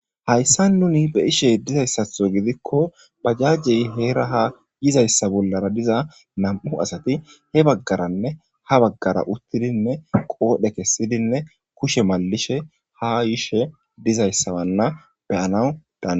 Hayssa nuni be'aishe diza issatho gidikko bajajjey heera ha yiza issa bollara diza nam'u asati he baggaranne ha baggara uttidinne qoobe kessidinne kushe malishe ha yishe diza issa wanna beyanau daanidayas.